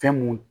Fɛn mun